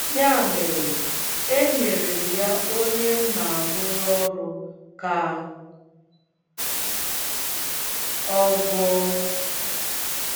Ya mere, enyere m ya onye m na - arụrụ ọrụ ka ọ gụọ.